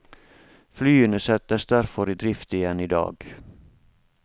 Flyene settes derfor i drift igjen i dag.